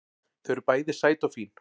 Þau eru bæði sæt og fín